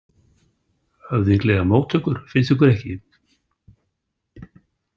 Höfðinglegar móttökur, finnst ykkur ekki?